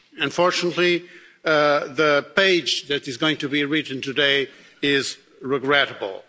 Unfortunately, the page that is going to be written today is regrettable.